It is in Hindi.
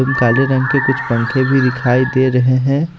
काले रंग के कुछ पंखे भी दिखाई दे रहे हैं।